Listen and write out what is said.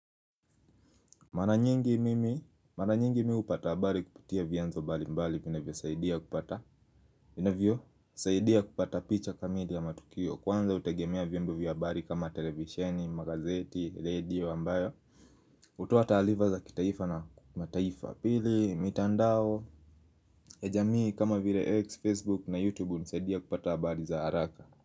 Mara nyingi mimi, mara nyingi mimi hupata habari kupitia vyanzo mbali mbali vinavyosaidia kupata inavyo, saidia kupata picha kamili ya matukio Kwanza hutegemea vienbo vya abari kama televisheni, magazeti, radio ambayo hutoa taarifa za kitaifa na mataifa Pili, mitandao, ejamii, kama vire X, Facebook na YouTube unisaidia kupata abari za haraka.